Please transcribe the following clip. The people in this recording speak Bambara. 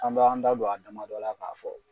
An b'an da don a damadɔ la k'a fɔ